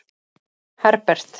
Herbert